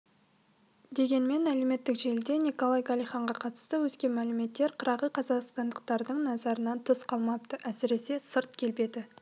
дегенмен әлеуметтік желіде николай галихинға қатысты өзге мәліметтер қырағы қазақстандықтардың назарынан тыс қалмапты әсіресе сырт келбеті